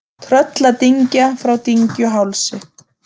Trölladyngja frá Dyngjuhálsi